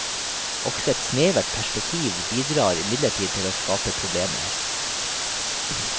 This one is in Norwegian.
Også et snevert perspektiv bidrar imidlertid til å skape problemer.